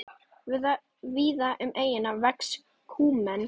Víða um eyjuna vex kúmen.